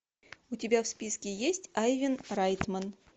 у тебя в списке есть айвен райтман